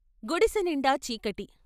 గుడిసెనిండా చీకటి.